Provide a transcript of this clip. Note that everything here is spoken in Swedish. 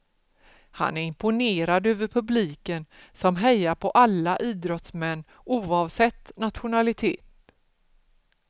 Han är imponerad över publiken som hejar på alla idrottsmän oavsett nationalitet.